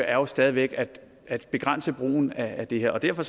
er jo stadig væk at begrænse brugen af det her og derfor